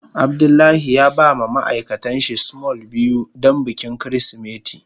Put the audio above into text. Abdullahi ya ba ma ma'aikatan shi small biyu don bikin kirisimeti.